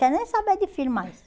Quero nem saber de filho mais.